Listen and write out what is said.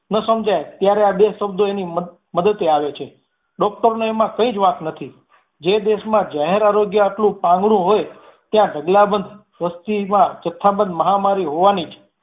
ન સમજાય ત્યારે આ બે શબ્દો એની મદતે આવે છે doctor નો એમાં કાંઈજ વાંક નથી. જે દેશ માં જાહેર આરોગ્ય આટલું પાંગળું હોઈ ત્યાં ઢગલાબંધ વસતીમાં જથ્થાભર મહામારી હોવાની જ